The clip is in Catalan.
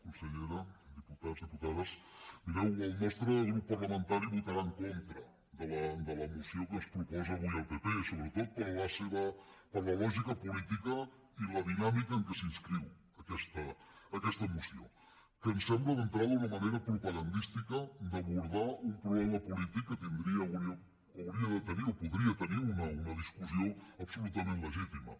consellera diputats diputades mireu el nostre grup parlamentari votarà en contra de la moció que ens proposa avui el pp sobretot per la lògica política i la dinàmica en què s’inscriu aquesta moció que em sembla d’entrada una manera propagandística d’abordar un problema polític que tindria o hauria de tenir o podria tenir una discussió absolutament legítima